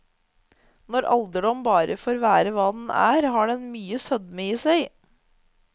Når alderdom bare får være hva den er, har den mye sødme i seg.